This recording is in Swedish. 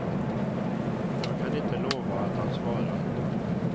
Jag kan inte lova att han svarar.